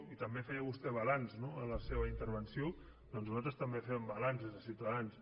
i també feia vostè balanç no en la seva intervenció doncs nosaltres també fem balanç des de ciutadans